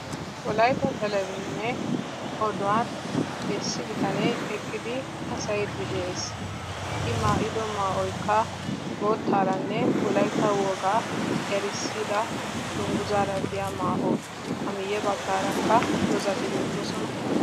wolaytta talbajiniya oduwani issi bittane eqidi haassayidi deessi i maayidoykka wolaytta wogaa maayuwaa dunguzza maayissi.